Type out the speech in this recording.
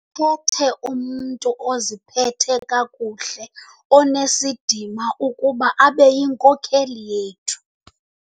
khethe umntu oziphethe kakuhle onesidima ukuba abe yinkokeli yethu.